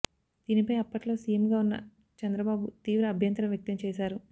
దీనిపై అప్పట్లో సీఎంగా ఉన్న చంద్రబాబు తీవ్ర అభ్యంతరం వ్యక్తం చేశారు